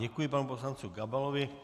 Děkuji panu poslanci Gabalovi.